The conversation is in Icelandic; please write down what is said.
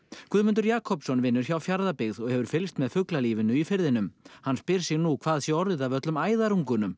Guðmundur Jakobsson vinnur hjá Fjarðabyggð og hefur fylgst með fuglalífinu í firðinum hann spyr sig nú hvað sé orðið af öllum